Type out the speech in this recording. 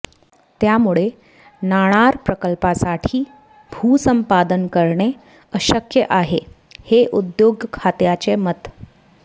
त्यामुळे नाणार प्रकल्पासाठी भूसंपादन करणे अशक्य आहे हे उद्योग खात्याचे मत